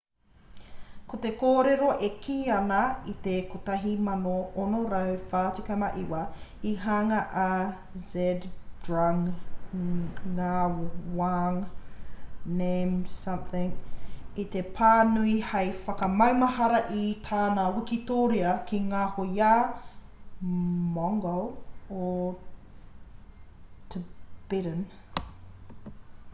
ko te kōrero e kī ana i te 1649 i hanga a zhabdrung ngawang namgyel i te pā nui hei whakamaumahara i tana wikitoria ki ngā hoiā mongol o tibetan